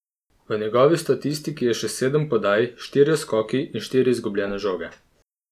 V njegovi statistiki je še sedem podaj, štirje skoki in štiri izgubljene žoge.